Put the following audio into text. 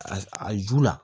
A a ju la